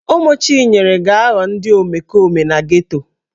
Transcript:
Ụmụ Chinyere ga-aghọ ndị omekome na geto.